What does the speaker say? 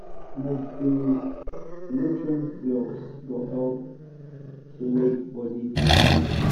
multi-nutrient blocks go help to make body da kampe.